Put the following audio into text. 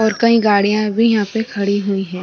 और कई गाड़िया भी यहाँ पे खड़ी हुई है।